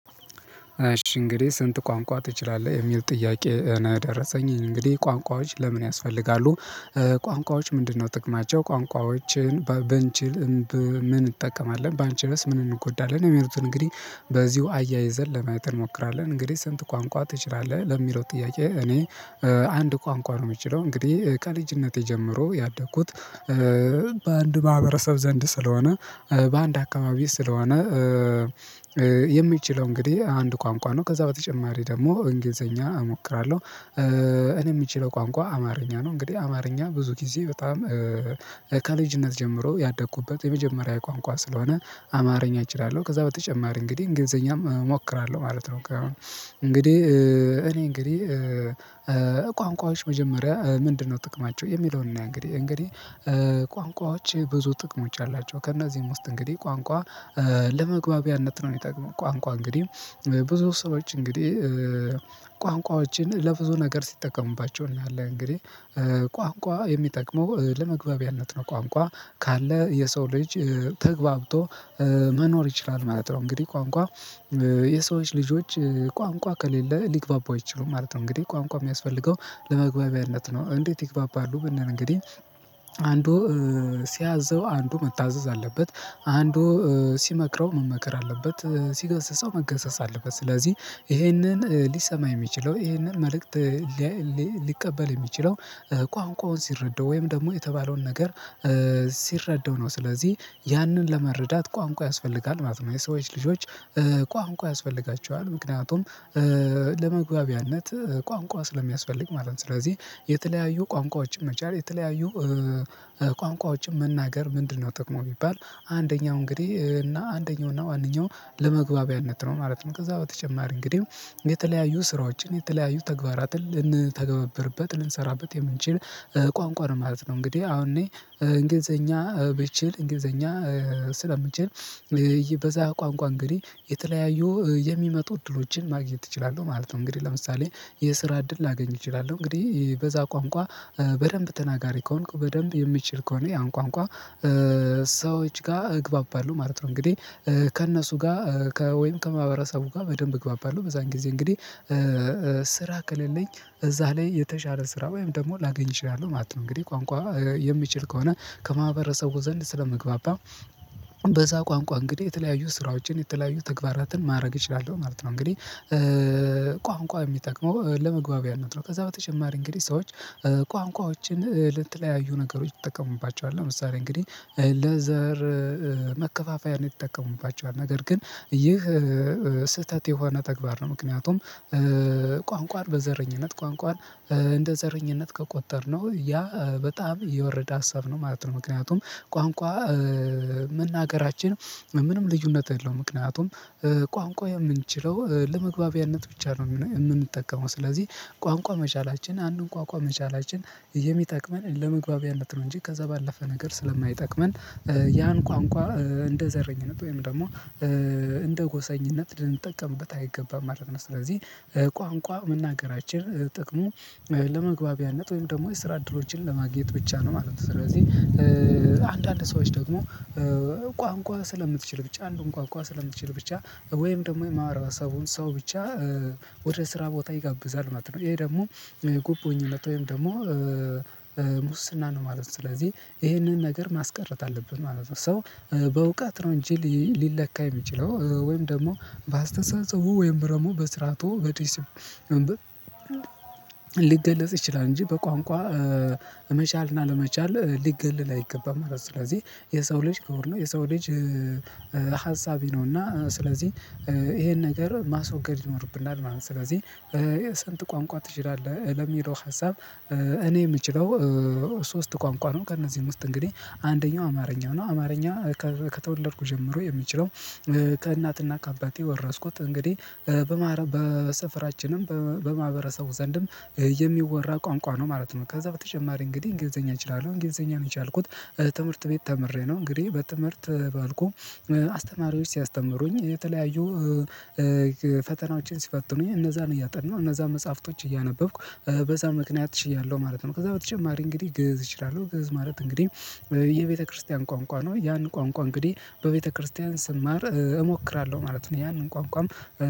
እሺ እንግዲህ ስንት ቋንቋ ትችላለህ? የሚል ጥያቄ ነው የደረሰኝ። እንግዲህ ቋንቋዎች ለምን ያስፈልጋሉ? እ ቋንቋዎች ምንድነው ጥቅማቸው? ቋንቋዎችን በ ብንችል ብ ምን እንጠቀማለን? ባንችልስ ምን እንጎዳለን? የሚሉትን እንግዲህ በዚሁ አያይዘን ለማየት እንሞክራለን። እንግዲህ ስንት ቋንቋ ትችላለህ? ለሚለው ጥያቄ፣ እ እኔ አንድ ቋንቋ ነው ምችለው። እንግዲህ ከልጅነቴ ጀምሮ ያደግኩት እ በአንድ ማህበረሰብ ዘንድ ስለሆነ፣ እ ባአንድ አካባቢ ስለሆነ እ እ የሚችለው እንግዲህ አንድ ቋንቋ ነው። ከዛ በተጨማሪ ደግሞ እንግሊዘኛ እሞክራለሁ። እ እኔ ምችለው ቋንቋ አማርኛ ነው። እንግዲህ አማርኛ ብዙ ጊዜ በጣም እ ከልጅነት ጀምሮ ያደኩበት የመጀመሪዬ ቋንቋ ስለሆነ አማርኛ እችላለሁ። ከዛ በተጨማሪ እንግዲህ እንግሊዘኛም እሞክራለሁ፣ ማለት ነው። ከ እንግዲህ እ እኔ እንግዲህ እ እ ቋንቋዎች መጀመሪያ ምንድነው ጥቅማቸው? የሚለውን እና እንግዲህ እንግዲህ ቋንቋዎች ብዙ ጥቅሞች አላቸው። ከእነዚህም ውስጥ እንግዲ፣ ቋንቋ ለመግባቢያነት ነው ሚጠቅመው። ቋንቋ እንግዲህ እ ብዙ ሰዎች እንግዲህ እ ቋንቋዎችን ለብዙ ነገር ሲጠቀሙባቸው እናያለን። እንግዲህ እ ቋንቋ የሚጠቅመው እ ለመግባቢያነት ነው። ቋንቋ ካለ የሰው ልጅ እ ተግባብቶ እ መኖር ይችላል ማለት ነው። እንግዲህ ቋንቋ እ የሰዎች ልጆች ቋንቋ ከሌለ ሊግባቡ አይችሉም ማለት ነው። እንግዲህ ቋንቋ እሚያስፈልገው ለመግባቢያነት ነው። እንዴት ይግባባሉ? ብንል እንግዲህ አንዱ እ ሲያዘው፣ አንዱ መታዘዝ አለበት። አንዱ እ ሲመክረው፣ መመከር አለበት። እ ሲገስጸው፣ መገሰጽ አለበት። ስለዚህ ኢሄንን ሊሰማ የሚችለው ኢሄንን መልእክት እ ሊያ ሊ ሊ ሊቀበል የሚችለው እ ቋንቋውን ሲረዳው ወይም ደግሞ የተባለውን ነገር እ ሲረዳው ነው። ስለዚህ ያንን ለመረዳት ቋንቋ ያስፈልጋል ማለት ነው። የሰዎች ልጆች እ ቋንቋ ያስፈልጋቸዋል። ምክንያቱም እ ለመግባቢያነት እ ቋንቋ ስለሚያስፈልግ ማለት ነው። ስለዚህ የተለያዩ ቋንቋዎችን መቻል፣ የተለያዩ እ እ ቋንቋዎችን መናገር ምንድነው ጥቅሙ ቢባል፣ አንደኛው እንግዲህ እና አንደኛው እና ዋነኛው ለመግባቢያነት ነው ማለት ነው። ከዛ በተጨማሪ እንግዲህ የተለያዩ ስራዎችን፣ የተለያዩ ተግባራትን ልንተገበርበት፣ ልንሰራበት የምንችል እ ቋንቋ ነው ማለት ነው። እንግዲህ አሁን እኔ እንግሊዘኛ ብችል እንግሊዘኛ ስለምችል እ በዛ ቋንቋ እንግዲህ የተለያዩ እ የሚመጡ እድሎችን ማግኘት እችላለሁ ማለት ነው። እንግዲህ ለምሳሌ የስራ እድል ላገኝ እችላለሁ። እንግዲህ በዛ ቋንቋ እ በደንብ ተናጋሪ ከሆንኩ፣ በደንብ የምችል ከሆነ ያን ቋንቋ እ ሰዎች ጋ እግባባለሁ ማለት ነው። እንግዲህ ከእነሱ ጋር እ ወይም ከማህበረሰቡ ጋ በደንብ እግባባለሁ። በዛን ጊዜ እንግዲህ እ እ ስራ ከሌለኝ እዛ ላይ የተሻለ ስራ ወይም ደግሞ ላገኝ እችላለሁ ማለት ነው። እንግዲህ ቋንቋ የሚችል ከሆነ ከማህበረሰቡ ዘንድ ስለመግባባ በዛ ቋንቋ እንግዲህ የተለያዩ ስራዎችን፣ የተለያዩ ተግባራትን ማረግ እችላለሁ ማለት ነው። እንግዲህ እ ቋንቋ እሚጠቅመው ለመግባቢያነት ነው። ከዛ በተጨማሪ እንግዲህ ሰዎች እ ቋንቋዎችን እ ለተለያዩ ነገሮች ይጠቀሙባቸዋል። ለምሳሌ እንግዲህ እ ለዘር እ መከፋፈያነት ይጠቀሙባቸዋል። ነገር ግን ይህ እ ስህተት የሆነ ተግባር ነው። ምክንያቱም ቋንቋን በዘረኝነት፣ ቋንቋን እንደ ዘረኝነት ከቆጠርነው፣ ያ በጣም የወረደ ሀሳብ ነው ማለት ነው። ምክንያቱም ቋንቋ እ መናገራችን ምንም ልዩነት የለውም። ምክንያቱም እ ቋንቋ የምንችለው እ ለመግባቢያነት ብቻ ነው እምነ እምንጠቀመው። ስለዚህ ቋንቋ መቻላችን አንዱን ቋንቋ መቻላችን የሚጠቅመን ለመግባቢያነት ነው እንጂ፣ ከዛ ባለፈ ነገር ስለማይጠቅመን ያን ቋንቋ እ እንደ ዘረኝነት ወይም ደግሞ እንደ ጎሰኝነት ልንጠቀምበት አይገባም ማለት ነው። ስለዚህ ቋንቋ መናገራችን ጥቅሙ እ ለመግባቢያነት ወይም ደግሞ የስራ እድሎችን ለማግኘት ብቻ ነው፣ ማለት ነው። ስለዚህ አንዳንድ ሰዎች ደግሞ እ ቋንቋ ስለምትችል ብቻ፣ አንዱን ቋንቋ ስለምትችል ብቻ ወይም ደሞ የማህበረሰቡን ሰው ብቻ እ ወደ ስራ ቦታ ይጋብዛል፣ ማለት ነው። ይሄ ደግሞ ጉቦኝነት ወይም ደሞ ሙስና ነው፣ ማለት ነው። ስለዚህ ኢሄንን ነገር ማስቀረት አለብን ማለት ነው። ሰው በእውቀት ነው እንጂ ሊ ሊለካ የሚችለው ወይም እ ደግሞ በአስተሳሰቡ ወይም ደሞ በስርዓቱ በዲሲ ሊገለጽ ይችላል እንጂ፣ በቋንቋ እ መቻልና አለመቻል ሊገለል አይገባም ማለት ነው። ስለዚህ የሰው ልጅ ክቡር ነው፣ የሰው ልጅ እ እ ሀሳቢ ነውና ስለዚህ ኢሄን ነገር ማስወገድ ይኖርብናል ማለት ነው። ስለዚህ ስንት ቋንቋ ትችላለህ ለሚለው ሀሳብ እኔ የምችለው እ ሶስት ቋንቋ ነው። ከእነዚህ ውስጥ እንግዲህ አንደኛው አማርኛ ነው። አማርኛ እ ከተወለድኩ ጀምሮ የምችለው ከእናትና ካባቴ ወረስኩት። እንግዲ እ በማረ በሰፈራችንም በ በማ በማህበረሰቡ ዘንድም የሚወራ ቋንቋ ነው፣ ማለት ነው። ከዛ በተጨማሪ እንግዲህ እንግሊዘኛ እችላለሁ። እንግሊዘኛም የቻልኩት ትምርት ቤት ተምሬ ነው። እንግዲህ በትምህርት እ ባልቆም እ አስተማሪዎች ሲያስተምሩኝ እ የተለያዩ እ እ ፈተናዎችን ሲፈትኑኝ እነዛን እያጠናሁ፣ እነዛን መጽሐፍቶች እያነበብኩ፣ እ በዛ ምክንያት ችያለሁ ማለት ነው። ከዛ በተጨማሪ እንግዲህ ግእዝ እችላለሁ። ግእዝ ማለት እንግዲህ እ የቤተክርስቲያን ቋንቋ ነው። ያን ቋንቋ እንግዲ፣ በቤተክርስቲያን ስማር እሞክራለሁ ማለት ነው። ያንን ቋንቋም